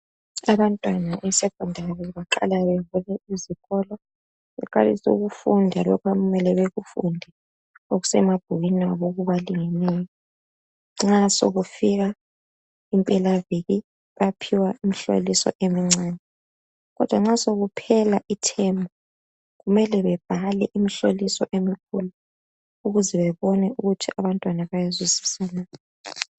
Abantwana besecondary beqala bevule izikolo. Baqaliise bafunde lokho okumele bakufunde okusemabhukwini abo, okubalingeneyo Nxa sekufika impelaviki, bayaphiwa imihloliso emuncane, Kodwa nxa sekuphela ithemu, kumele babhale imihloliso emikhulu, ukuze bebone ukuthi abantwana bayezwisisa na?